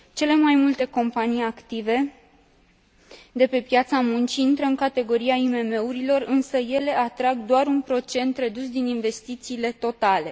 Cele mai multe companii active de pe piața muncii intră în categoria IMM urilor, însă ele atrag doar un procent redus din investițiile totale.